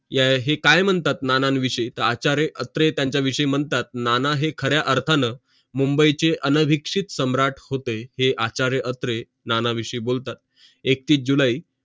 हे काय मानतात नानां विषय आचार्य अत्रे त्यांचा विषय म्हणतात नाना हे खऱ्या अर्थाने मुंबईचे अनभिक्षित सम्राट होते हे आचार्य अत्रे नाना विषयी बोलतात एकतीस जुलै